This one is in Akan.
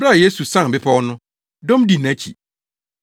Bere a Yesu sian bepɔw no, dɔm dii nʼakyi.